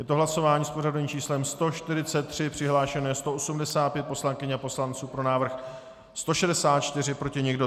Je to hlasování s pořadovým číslem 143, přihlášeno je 185 poslankyň a poslanců, pro návrh 164, proti nikdo.